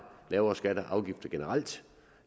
lavere skatter og afgifter generelt